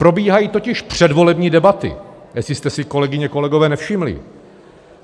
Probíhají totiž předvolební debaty, jestli jste si, kolegyně, kolegové, nevšimli.